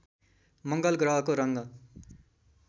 मङ्गल ग्रहको रङ